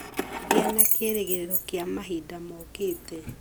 Gĩa na kĩĩrĩgĩrĩro kĩa mahinda mokĩte.